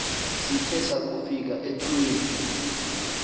sithe sakufika etyholweni